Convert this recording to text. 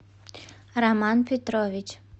роман петрович